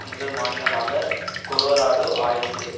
முதல் மாநிலமாக கொலோராடோ ஆயிற்று